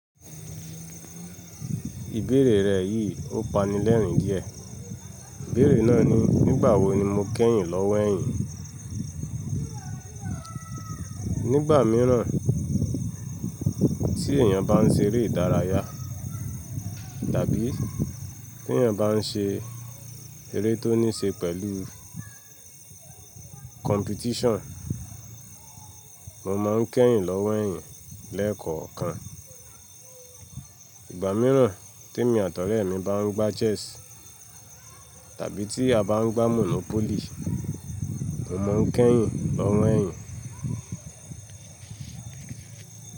Ìbéèrè rẹ yìí ó pa mi lẹ́rìn díẹ̀. Ìbéèrè náà ni, nígbà wo ni mo kẹ́yìn lọ́wọ́ ẹ̀yìn? Nígbà míiràn tí èyàn bá ń ṣe eré ìdárayá tàbí tí èyàn bá ń ṣe eré tó ní ṣe pẹ̀lú competition, mo máa ń kẹ́yìn lọ́wọ́ ẹ̀yìn lekookan. Ìgbà míiràn tí èmi àtọ̀rẹ́ mi bá ń gbá chess tàbí tí a bá ń gbá monopoly, mo má ń kẹ́yìn lọ́wọ́ ẹ̀yìn.